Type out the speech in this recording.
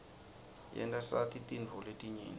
yenta sati tintfo letinyenti